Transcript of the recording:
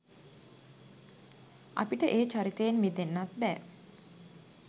අපිට ඒ චරිතයෙන් මිදෙන්නත් බෑ.